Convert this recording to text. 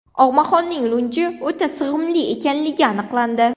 Og‘maxonning lunji o‘ta sig‘imli ekanligi aniqlandi .